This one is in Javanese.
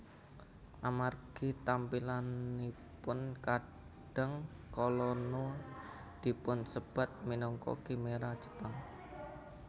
Amargi tampilanipun kadang kala Nue dipunsebat minangka khimera Jepang